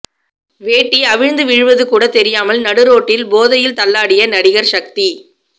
வேட்டி அவிழ்ந்து விழுவது கூட தெரியாமல் நடுரோட்டில் போதையில் தள்ளாடிய நடிகர் சக்தி